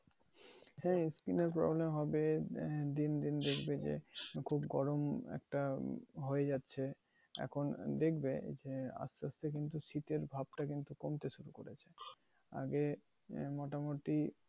হ্যাঁ, ই skin এর problem হবে আহ then~ then দেখবে যে খুব গরম একটা হয়ে যাচ্ছে। এখন দেখবে যে আসতে আসতে কিন্তু শীতের ভাবটা কিন্তু কমতে শুরু করেছে। আগে মোটামুটি